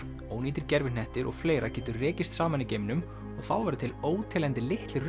ónýtir gervihnettir og fleira getur rekist saman í geimnum og þá verða til óteljandi litlir